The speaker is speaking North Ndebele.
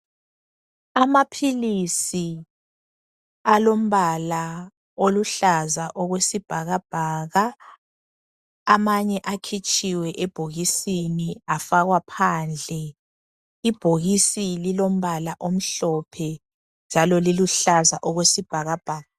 Amaphilisi alombala oluhlaza okwesibhakabhaka amanye akhitshiwe ebhokisini afakwa phandle. Ibhokisi lilombala omhlophe njalo liluhlaza okwesibhakabhaka.